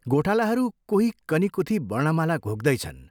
गोठालाहरू कोही कनीकुथी वर्णमाला घोक्दैछन्।